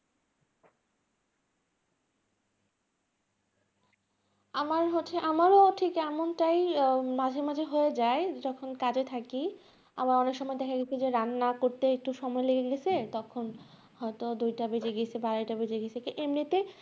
আমার হচ্ছে আমারও ঠিক এমনটাই আহ মাঝে মাঝে হয়ে যায়, যখন কাজে থাকি । আবার অনেক সময় দেখা গেছে যে রান্না করতে একটু সময় লেগে গেছে তখন হয়তো দুইটা বেজে গেছে বা আড়াইটা বেজে গেছে, এমনিতে